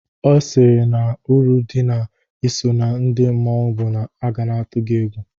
Ee, ọ sịrị na uru dị na-iso na ndị mmanwụ bụ na a ga na-atụ gị egwu.